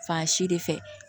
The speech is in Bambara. Fan si de fɛ